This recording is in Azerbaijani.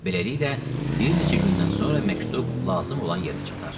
Beləliklə, bir neçə gündən sonra məktub lazım olan yerə çatar.